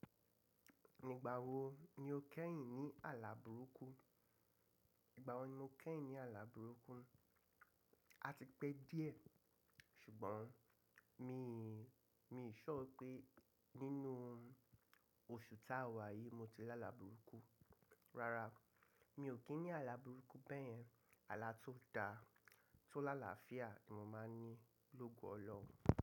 Nígbà wo ni o kẹ́yìn ní àlà burúkú? Igba wo ni mo keyin ni ala buruku A ti pẹ́ díẹ̀, ṣùgbọ́n mi sure pé nínú oṣù ta wà yìí mo ti lá àlà burúkú. Rárá, mi ò kín ní àlà burúkú bẹ́ẹ̀yẹn. Àlà tó da, tó lála fìá ni mo máa ń ní lógo ọlọhun.